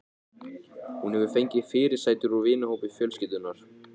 Hún hefur fengið fyrirsætur úr vinahópi fjölskyldunnar.